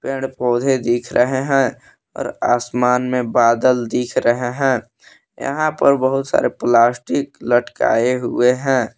पेड़ पौधे दिख रहे हैं और आसमान में बादल दिख रहे हैं यहां पर बहुत सारे प्लास्टिक लटकाए हुए हैं।